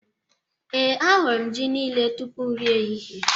Ee, ahụrụ m ji niile tupu nri ehihie